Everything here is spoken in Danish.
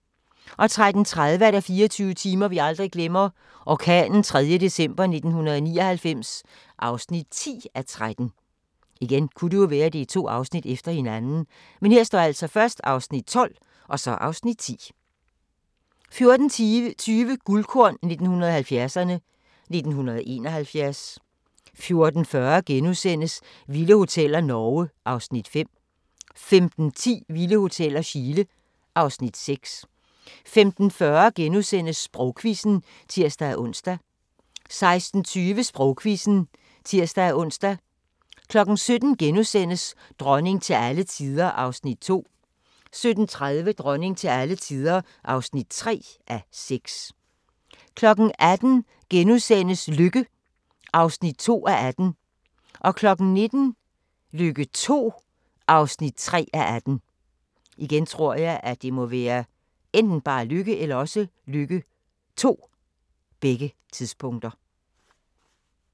13:30: 24 timer vi aldrig glemmer – orkanen 3. december 1999 (10:13) 14:20: Guldkorn 1970'erne: 1971 14:40: Vilde Hoteller - Norge (Afs. 5)* 15:10: Vilde Hoteller - Chile (Afs. 6) 15:40: Sprogquizzen *(tir-ons) 16:20: Sprogquizzen (tir-ons) 17:00: Dronning til alle tider (2:6)* 17:30: Dronning til alle tider (3:6) 18:00: Lykke (2:18)* 19:00: Lykke II (3:18)